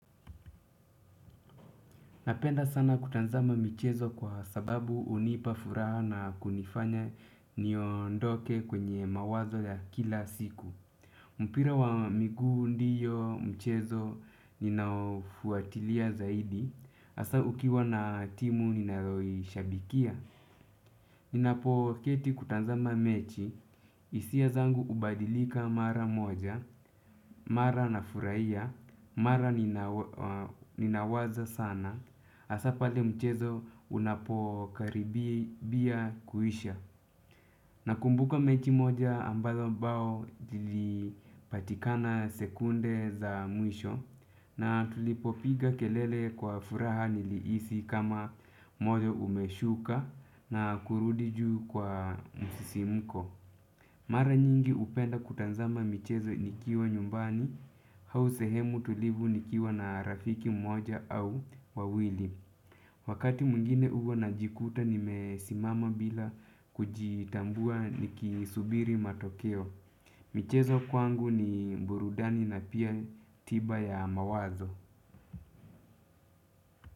Napenda sana kutanzama michezo kwa sababu unipa furaha na kunifanya niondoke kwenye mawazo ya kila siku. Mpira wa miguu ndiyo mchezo ninaofuatilia zaidi asa ukiwa na timu ninayo ishabikia. Ninapoketi kutanzama mechi isia zangu ubadilika mara moja. Mara nafuraia. Mara ninawaza sana asa pale mchezo unapokaribia kuisha. Nakumbuka mechi moja ambazo bao lilipatikana sekunde za mwisho. Na tulipopiga kelele kwa furaha niliisi kama moyo umeshuka na kurudi juu kwa msisimuko. Mara nyingi upenda kutazama michezo nikiwa nyumbani hau sehemu tulivu nikiwa na rafiki mmoja au wawili. Wakati mwingine uwa najikuta nimesimama bila kujitambua nikisubiri matokeo. Michezo kwangu ni burudani na pia tiba ya mawazo.